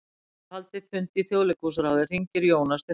Eftir að hafa haldið fund í Þjóðleikhúsráði hringir Jónas til Helga.